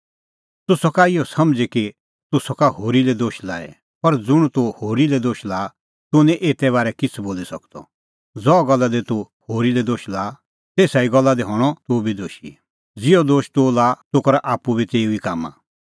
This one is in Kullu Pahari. तूह सका इहअ समझ़ी कि तूह सका होरी लै दोश लाई पर ज़ुंण तूह होरी लै दोश लाआ तूह निं एते बारै किछ़ै बोली सकदअ ज़हा गल्ला दी तूह होरी लै दोश लाआ तेसा ई गल्ला दी हणअ तुबी दोशी ज़िहअ दोशा तूह लाआ तूह करा आप्पू बी तेऊ ई कामां